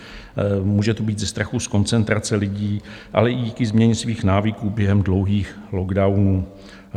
Může to být ze strachu z koncentrace lidí, ale i díky změně jejich návyků během dlouhých lockdownů.